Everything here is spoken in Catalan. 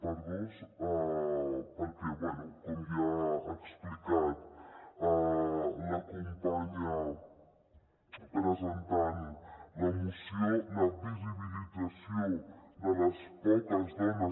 perquè bé com ja ha explicat la companya que ha presentat la moció la visibi·lització de les poques dones